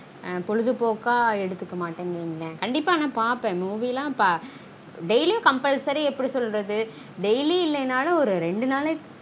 ஆஹ் பொழுதுபோக்கா எடுத்துக்க மாட்டன் வைங்கலன் கண்டீப்பா ஆனா பாப்பான் movie daily compulsory எப்டி சொல்றது daily இல்லனாலும் ஒரு ரெண்டு நாளைக்கு